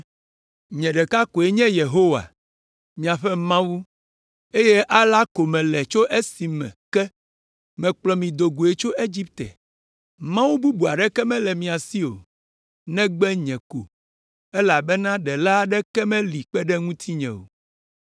“Nye ɖeka koe nye Yehowa, miaƒe Mawu, eye alea ko mele tso esime ke mekplɔ mi do goe tso Egipte. Mawu bubu aɖeke mele mia si o, negbe nye ko, elabena ɖela aɖeke meli kpe ɖe ŋutinye o.